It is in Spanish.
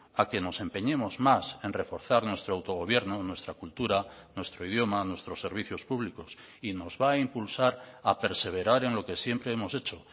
a que nos empeñemos más en reforzar nuestro autogobierno nuestra cultura nuestro idioma nuestros servicios públicos y nos va a impulsar a perseverar en lo que siempre hemos hecho